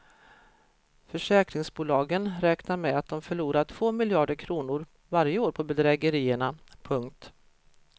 Försäkringsbolagen räknar med att de förlorar två miljarder kronor varje år på bedrägerierna. punkt